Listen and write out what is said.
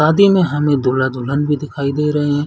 शादी में हमें दूल्हा-दुलहन भी दिखाई दे रहै है।